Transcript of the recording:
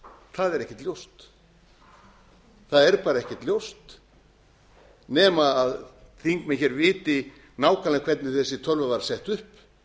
það er ekkert ljóst það er bara ekkert ljóst nema þingmenn viti nákvæmlega hvernig þessi tölva var sett upp